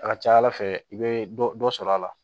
A ka ca ala fɛ i bɛ dɔ dɔ sɔr'a la